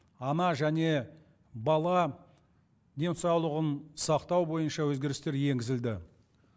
ана және бала денсаулығын сақтау бойынша өзгерістер енгізілді